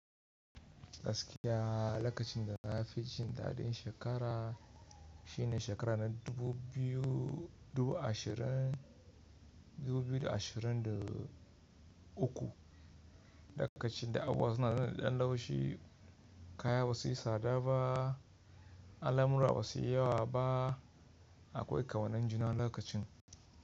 Gaskiya lokacin da na fi jin daɗin shekara shine shekara na dubu biyu dubu ashirin dubu biyu da lokacin da abubuwa suna da ɗan laushi, kaya ba su yi tsada ba, al'amura ba su yi yawa ba, akwai ƙau nan juna lokacin.